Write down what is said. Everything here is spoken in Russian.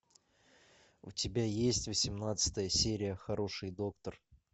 у тебя есть восемнадцатая серия хороший доктор